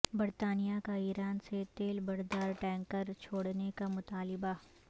برطانیہ کا ایران سے تیل بردار ٹینکر چھوڑنے کا مطالبہ